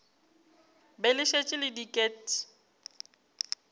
be le šetše le diket